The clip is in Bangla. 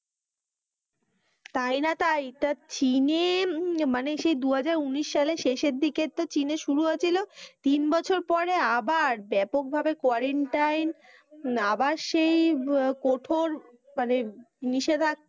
তাই না তাই টা চীনে মানে সেই দু হাজার উনিশ সালে শেষের দিকে তো শুরু হয়েছিল তিন বছর পর আবার ব্যাপক ভাবে Quarantine আবার সেই কঠোর মানে নিষেধাক্কা,